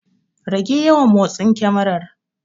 Rage yawan motsin kemarar.